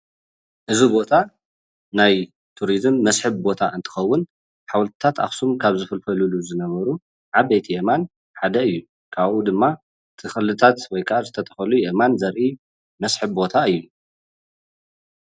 እዚ ቦታ ናይ ቱሪዝም መስሕብ ቦታ እንትከውን ሓወልቲታት ኣክሱም ካብ ዝፍልፍልሉ ዝነበሩ ዓበይቲ ኣእማን ሓደ እዩ፡፡ ካብኡ ድማ ተክልታት ወይ ከዓ ዝተተከሉ ኣእማን ዘርኢ መስሕብ ቦታ እዩ፡፡